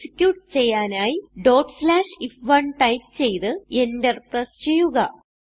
execute ചെയ്യാനായി if1 type ചെയ്ത് enter press ചെയ്യുക